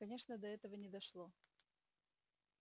конечно до этого не дошло